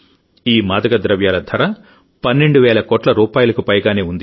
ఈ మాదక ద్రవ్యాల ధర 12 వేల కోట్లరూపాయలకు పైగానే ఉంది